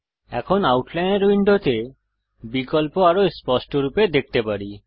এখন আউটলাইনর উইন্ডোতে বিকল্প আরও স্পষ্টরূপে দেখতে পারি